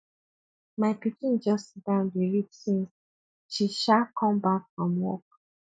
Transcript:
my pikin just sit down dey read since she um come back from work